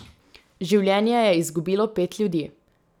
Življenje je izgubilo pet ljudi.